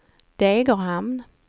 Degerhamn